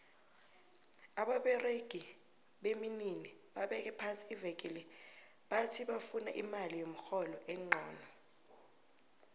ababeregi beminini babeke phasi iveke le bati bavuna imali yomrholo enqono